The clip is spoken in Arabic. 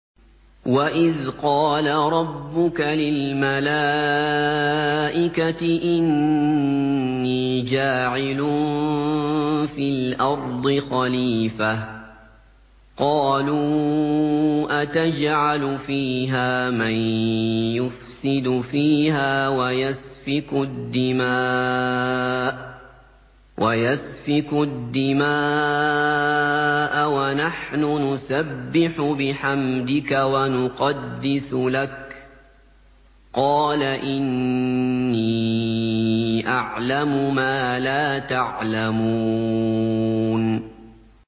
وَإِذْ قَالَ رَبُّكَ لِلْمَلَائِكَةِ إِنِّي جَاعِلٌ فِي الْأَرْضِ خَلِيفَةً ۖ قَالُوا أَتَجْعَلُ فِيهَا مَن يُفْسِدُ فِيهَا وَيَسْفِكُ الدِّمَاءَ وَنَحْنُ نُسَبِّحُ بِحَمْدِكَ وَنُقَدِّسُ لَكَ ۖ قَالَ إِنِّي أَعْلَمُ مَا لَا تَعْلَمُونَ